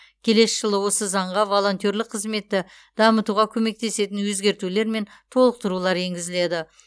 келесі жылы осы заңға волонтерлік қызметті дамытуға көмектесетін өзгертулер мен толықтырулар енгізіледі